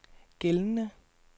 gældende